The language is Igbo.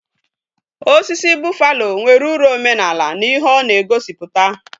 Osisi buffalo nwere uru omenaala na ihe ona egosiputa